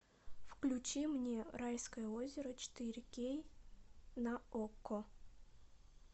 включи мне райское озеро четыре кей на окко